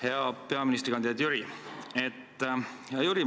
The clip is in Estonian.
Hea peaministrikandidaat Jüri!